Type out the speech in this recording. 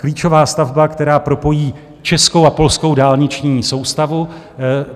Klíčová stavba, která propojí českou a polskou dálniční soustavu.